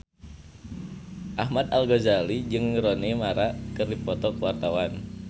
Ahmad Al-Ghazali jeung Rooney Mara keur dipoto ku wartawan